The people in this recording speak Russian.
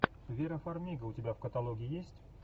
вера фармига у тебя в каталоге есть